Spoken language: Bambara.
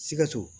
Sikaso